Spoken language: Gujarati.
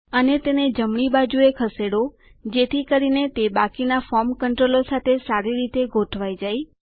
અને તેને જમણી બાજુએ ખસેડો જેથી કરીને તે બાકીના ફોર્મ કન્ટ્રોલો સાથે સારી રીતે ગોઠવાય જાય